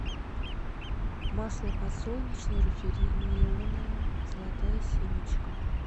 масло подсолнечное рафинированное золотая семечка